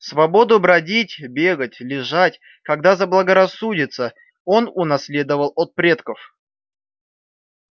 свободу бродить бегать лежать когда заблагорассудится он унаследовал от предков